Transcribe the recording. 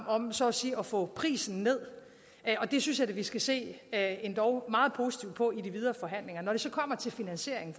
om så at sige at få prisen ned og det synes jeg da vi skal se endog meget positivt på i de videre forhandlinger når det så kommer til finansieringen